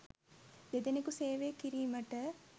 දෙදෙනෙකු සේවය කිරීමට